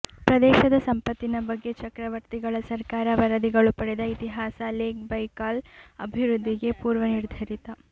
ಪ್ರದೇಶದ ಸಂಪತ್ತಿನ ಬಗ್ಗೆ ಚಕ್ರವರ್ತಿಗಳ ಸರ್ಕಾರ ವರದಿಗಳು ಪಡೆದ ಇತಿಹಾಸ ಲೇಕ್ ಬೈಕಾಲ್ ಅಭಿವೃದ್ಧಿಗೆ ಪೂರ್ವನಿರ್ಧರಿತ